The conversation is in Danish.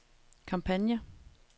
kampagne